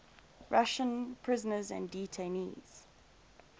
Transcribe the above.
russian prisoners and detainees